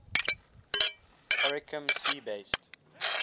oricum sea base